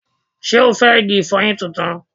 Ṣé o fẹ́ igi ìfọyín tuntun?